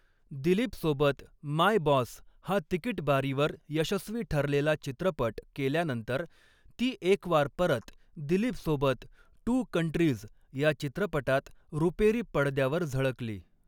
दिलीपसोबत 'My Boss' हा तिकीट बारीवर यशस्वी ठरलेला चित्रपट केल्यानंतर ती एकवार परत दिलीपसोबत 'टू कंट्रीज' या चित्रपटात रुपेरी पडद्यावर झळकली.